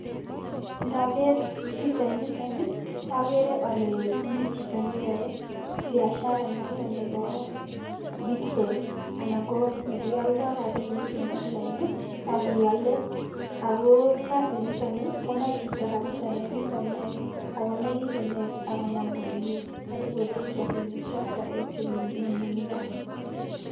Ndaker pichait nitoni, akere ale mi chito neyae biashara notok nebo bitcoin anan ko ne kialdai rabinik en online akeale, ako kasit nitoni komache chito kapsaa ne kikonai, ako nekikinet akonam komye, asikosich rabinik chotok en nyunyumindo